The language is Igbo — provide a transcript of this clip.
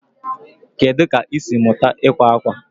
Kedu ka ị siri mụta ịkwa akwa?